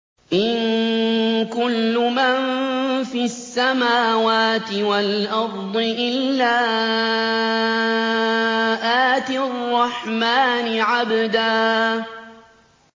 إِن كُلُّ مَن فِي السَّمَاوَاتِ وَالْأَرْضِ إِلَّا آتِي الرَّحْمَٰنِ عَبْدًا